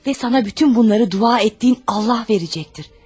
Və sənə bütün bunları dua etdiyin Allah verəcəkdir.